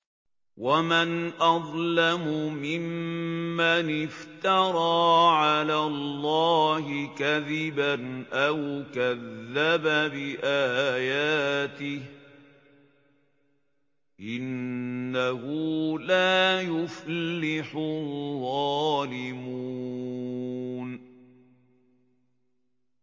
وَمَنْ أَظْلَمُ مِمَّنِ افْتَرَىٰ عَلَى اللَّهِ كَذِبًا أَوْ كَذَّبَ بِآيَاتِهِ ۗ إِنَّهُ لَا يُفْلِحُ الظَّالِمُونَ